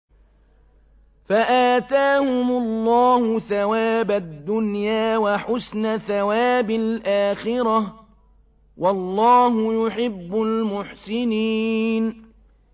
فَآتَاهُمُ اللَّهُ ثَوَابَ الدُّنْيَا وَحُسْنَ ثَوَابِ الْآخِرَةِ ۗ وَاللَّهُ يُحِبُّ الْمُحْسِنِينَ